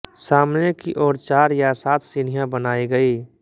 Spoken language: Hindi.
सामने की ओर चार या सात सीढ़ियाँ बनाई गई